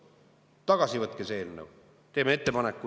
Võtke tagasi see eelnõu!